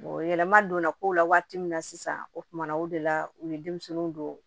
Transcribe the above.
yɛlɛma donna kow la waati min na sisan o kumana o de la u ye denmisɛnninw don